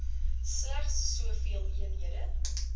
slegs soveel eenhede